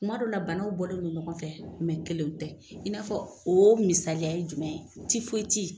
Kuma dɔw la banaw bɔlen don ɲɔgɔn fɛ , kelen tɛ . I n'a fɔ o misaliya ye jumɛn ye tifoyiti.